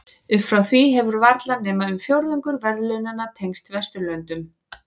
Upp frá því hefur varla nema um fjórðungur verðlaunanna tengst Vesturlöndum.